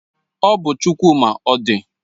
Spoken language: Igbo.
Ọ bụ Chukwuma Odị